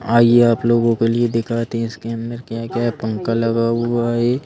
आइए आप लोगों के लिए दिखाते हैं इसके अंदर क्या-क्या है पंखा लगा हुआ है एक।